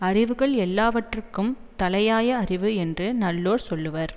அறிவுகள் எல்லாவற்றிற்கும் தலையாய அறிவு என்று நல்லோர் சொல்லுவர்